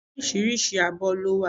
Oríṣiríṣi abọ́ ló wà